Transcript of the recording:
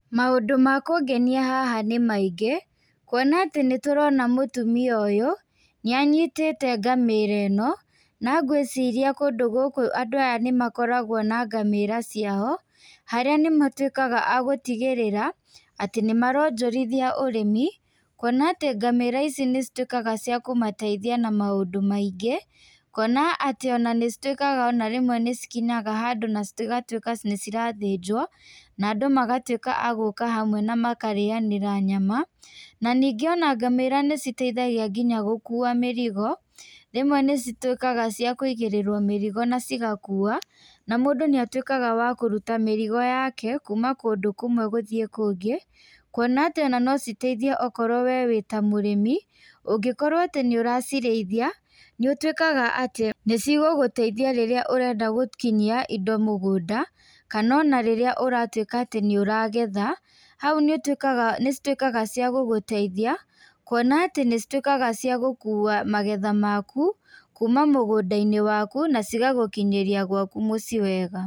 Maũndũ ma kũngenia haha nĩ maingĩ kuona atĩ nĩ tũrona mũtumia ũyũ nĩ anyitĩte ngaĩra ĩno. Na ngwĩciria kũndũ gũkũ andũ aya nĩ makoragwo na ngamĩra ciao, harĩa nĩ matuĩkaga agũtigĩrĩra atĩ nĩ maronjorithia ũrĩmi. Kuona atĩ ngamĩra ici nĩ cituĩkaga cia kũmateithia na maũndũ maoingĩ. Kuona atĩ ona nĩ cituĩkaga ona rĩmwe nĩ cikinyaga handũ na cigatuĩka nĩ cirathĩnjwo na andũ magatuĩka agíĩka hamwe na makarĩanĩra nyama. Na ningĩ ngamĩra nĩ citeithagia nginya gũkua mĩrigo, rĩmwe nĩ cituĩkaga cia kũigĩrĩrwo mĩrigo na cigakua. Na mũndũ nĩ atuĩkaga wa kũruta mĩrigo yake kuma kũndũ kũmwe gũthiĩ kũngĩ. Kuona atĩ ona no citeithie okorwo wee wĩ ta mũrĩmi, ũngĩkorwo atĩ nĩ ũracirĩithia nĩ ũtuĩkaga atĩ nĩ cigũgũteithia rĩrĩa ũrenda gũkinyia indo mũgũnda. Kana ona rĩrĩa ũratuĩka atĩ nĩ ũragetha hau nĩ cituĩkaga ciagũgũteithia, kuona atĩ nĩ cituĩkaga ciagũkua magetha maku kuma mũgũnda-inĩ waku na cigagũkinyĩria gwaku mũciĩ wega.